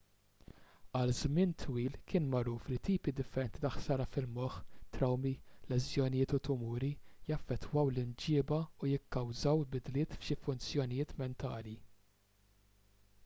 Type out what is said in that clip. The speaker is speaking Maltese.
għal żmien twil kien magħruf li tipi differenti ta' ħsara fil-moħħ trawmi leżjonijiet u tumuri jaffettwaw l-imġieba u jikkawżaw bidliet f'xi funzjonijiet mentali